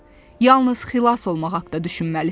Yalnız xilas olmaq haqda düşünməlisən.